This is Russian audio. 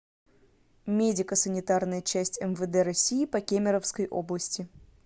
медико санитарная часть мвд россии по кемеровской области